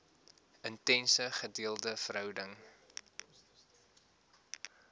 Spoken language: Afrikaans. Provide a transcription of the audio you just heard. intense gedeelde verhouding